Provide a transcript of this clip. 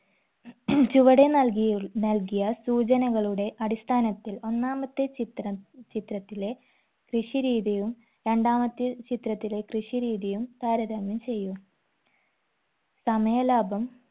ചുവടെ നൽകിയി നൽകിയ സൂചനകളുടെ അടിസ്ഥാനത്തിൽ ഒന്നാമത്തെ ചിത്രം ചിത്രത്തിലെ കൃഷി രീതിയും രണ്ടാമത്തെ ചിത്രത്തിലെ കൃഷി രീതിയും താരതമ്യം ചെയ്യൂ സമയലാഭം